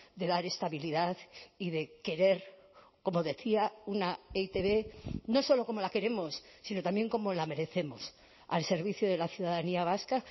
de dar estabilidad y de querer como decía una e i te be no solo como la queremos sino también como la merecemos al servicio de la ciudadanía vasca